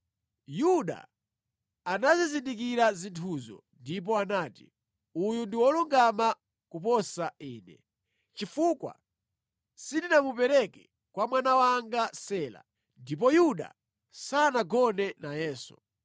Yuda anazizindikira zinthuzo ndipo anati, “Uyu ndi wolungama kuposa ine, chifukwa sindinamupereke kwa mwana wanga Sela.” Ndipo Yuda sanagone nayenso.